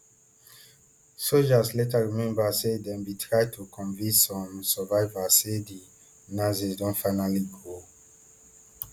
sojas later remember say dem bin try to convince some survivors say di nazis Accepted finally go